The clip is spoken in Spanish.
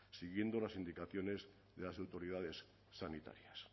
siguiendo las indicaciones de las autoridades sanitarias